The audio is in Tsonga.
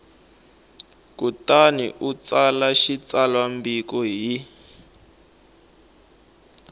kutani u tsala xitsalwambiko hi